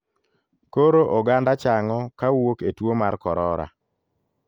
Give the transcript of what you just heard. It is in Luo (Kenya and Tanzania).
Koro oganda chang'o kawuok e tuo mar korora.